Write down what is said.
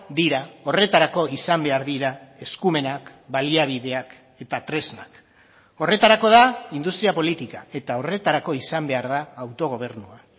dira horretarako izan behar dira eskumenak baliabideak eta tresnak horretarako da industria politika eta horretarako izan behar da autogobernua